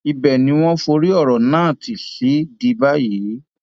ibẹ ni wọn forí ọrọ náà ti sì di báyìí